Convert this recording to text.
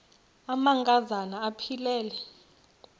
amanka zana aphilele